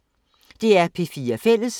DR P4 Fælles